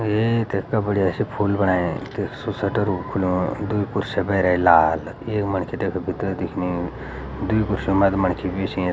ये इथे इतगा बढ़िया सी फूल बणाया त सु सटर भी खुलणू द्वि ख्रुसियाँ भैरे लाल एक मणखी तैक भितर दिखनी द्वि कुर्सियों मा त मणखी भी सियां।